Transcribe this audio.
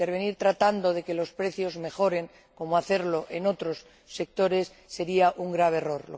Intervenir tratando de que los precios mejoren, como hacerlo en otros sectores, sería un grave error.